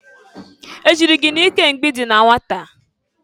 E jịrị gị n'ike mgbe i dị na nwata?